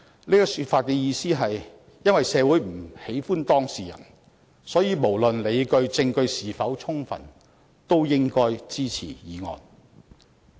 這種說法的意思是：因為社會不喜歡當事人，所以無論理據和證據是否充分都應該支持議案。